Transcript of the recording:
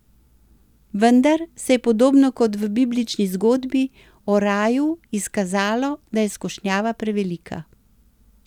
Vendar se je podobno kot v biblični zgodbi o raju izkazalo, da je skušnjava prevelika.